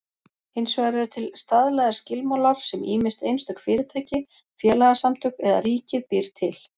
Hins vegar eru til staðlaðir skilmálar sem ýmist einstök fyrirtæki, félagasamtök eða ríkið býr til.